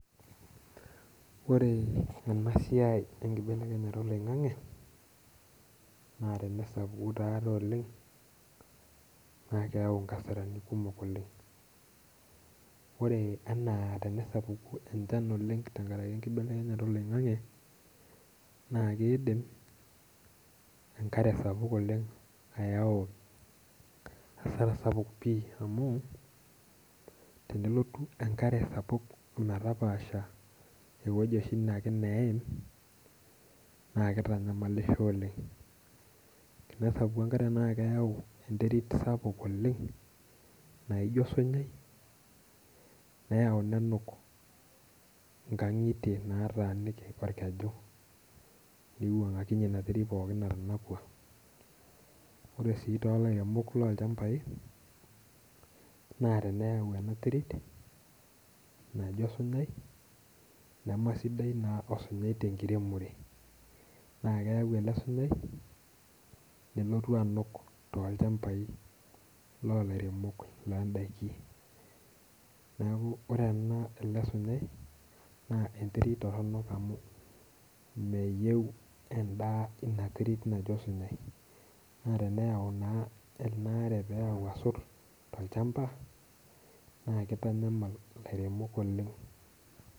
Ore enaa siai ee nibelekenya oloing'ang'e naa tenasapuku taadoi oleng' naa keyau inkasarani kumok oleng'. Ore anaa tenasupuku enchan oleng' te nkaraki enkibelekenyata oloing'ang'e naa keidim enkare sapuk olenyayau hasara sapuk oleng' amuu tenelotu enkare sapuk ometapaasha eweji oshi akee neim naa kitanyamalisho oleng'. Tenesapuku enkare naa keyau enterit sapuk oleng' naijo osunyai neyau nenuk nkang'itie naataniki orkeju niwang'akinye ina terit pookin nayaua. Ore sii too ilairemok loochambai naa teneyau ena terit najo osunyai, nemesidai naa osunyai tenkiremore, naa keyau ele sunyai nelotu anuk tolchambai loo ilairemok loo daikin. Neeku ore ele sunyai naa enterit toronok amuu meyeu edaa ina terit naji osunyai. Naa teneyau naa ena are nayau asot tolchamba naa kitanyamal ilairemok oleng'.